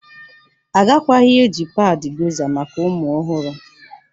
Agakwaghị eji padị Gọza maka ụmụ ọhụrụ